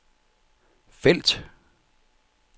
felt